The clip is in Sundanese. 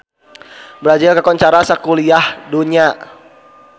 Brazil kakoncara sakuliah dunya